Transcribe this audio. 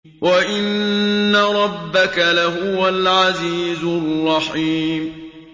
وَإِنَّ رَبَّكَ لَهُوَ الْعَزِيزُ الرَّحِيمُ